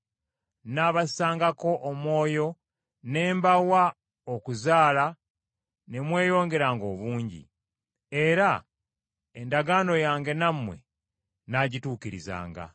“Nnaabassangako omwoyo ne mbawa okuzaala ne mweyongera obungi, era endagaano yange nammwe nnaagituukirizanga.